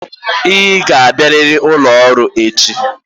Ị ga-abịarịrị n'ụlọ ọrụ echi.